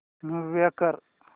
move कर